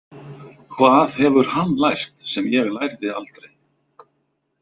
Hvað hefur hann lært sem ég lærði aldrei?